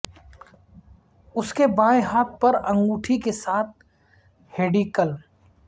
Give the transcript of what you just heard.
اس کے بائیں ہاتھ پر انگوٹی کے ساتھ ہیڈی کلم